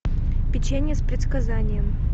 печенье с предсказанием